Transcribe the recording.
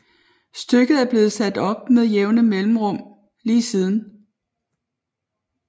Stykket er blevet sat op med jævne mellemrum lige siden